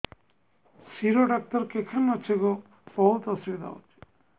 ଶିର ଡାକ୍ତର କେଖାନେ ଅଛେ ଗୋ ବହୁତ୍ ଅସୁବିଧା ହଉଚି